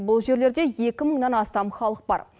бұл жерлерде екі мыңнан астам халық бар